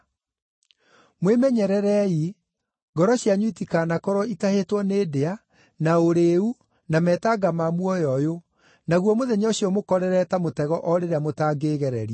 “Mwĩmenyererei, ngoro cianyu itikanakorwo itahĩtwo nĩ ndĩa, na ũrĩĩu na metanga ma muoyo ũyũ, naguo mũthenya ũcio ũmũkorerere ta mũtego o rĩrĩa mũtangĩĩgereria.